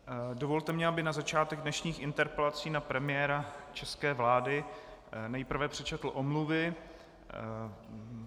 Dovolte mi, abych na začátek dnešních interpelací na premiéra české vlády nejprve přečetl omluvy.